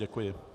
Děkuji.